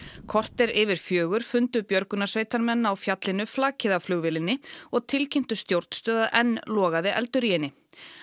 korter yfir fjögur fundu björgunarsveitarmenn á fjallinu flakið af flugvélinni og tilkynntu stjórnstöð að enn logaði eldur í henni